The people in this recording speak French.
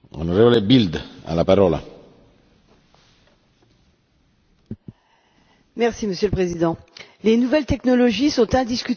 Monsieur le Président, les nouvelles technologies sont indiscutablement un moyen démocratique de permettre à tous un accès égal à la culture et à l'information.